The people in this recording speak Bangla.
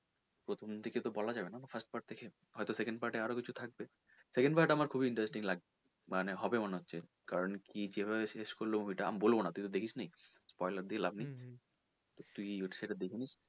প্রথম থেকে তো কিছু বলা যাবে না first part এর হয়তো second part এ কিছু থাকবে second part আমার খুবই interesting লাগ মানে হবে মনে হচ্ছে কারন কি যেভাবে শেষ করলো movie টা আমি বলবো না কারন তুই তো দেখিসনি spoiler দিয়ে লাভ নেই তো তুই সেটা দেখে নিস।